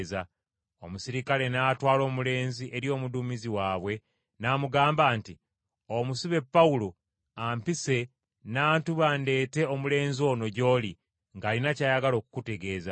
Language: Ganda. Omuserikale n’atwala omulenzi eri omuduumizi waabwe n’amugamba nti, “Omusibe Pawulo ampise n’antuma ndeete omulenzi ono gy’oli ng’alina ky’ayagala okukutegeeza.”